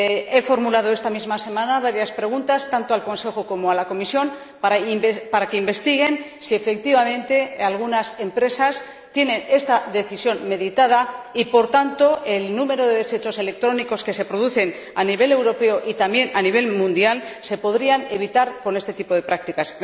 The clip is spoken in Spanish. He formulado esta misma semana varias preguntas, tanto al Consejo como a la Comisión, para que investiguen si, efectivamente, algunas empresas tienen esta decisión meditada y, por tanto, si el número de desechos electrónicos que se producen a nivel europeo y también a nivel mundial se podría evitar combatiendo este tipo de prácticas.